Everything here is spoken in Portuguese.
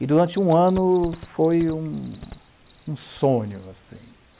E durante um ano foi um um sonho, assim.